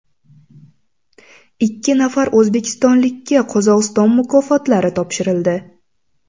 Ikki nafar o‘zbekistonlikka Qozog‘iston mukofotlari topshirildi.